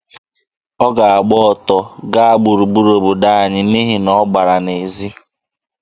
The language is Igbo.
Ọ ga-agba ọtọ gaa gburugburu obodo anyị n'ihi na ọ gbara n'ezi.